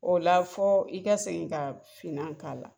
O la fɔ, i ka segin ka finna k'a la.